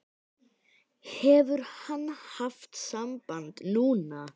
Hefur hann haft samband núna?